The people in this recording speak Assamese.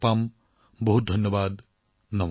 আপোনালোকক সকলোকে বহুত বহুত ধন্যবাদ